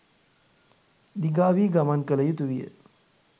දිගාවී ගමන් කළ යුතුවිය